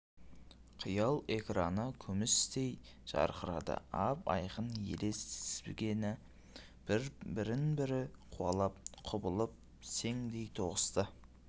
қиял экраны күмістей жарқырады ап-айқын елес тізбегі бірін-бірі қуалап құбылып сеңдей тоғысты